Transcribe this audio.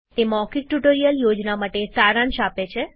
તે મૌખિક tutorial project માટે સારાંશ આપે છે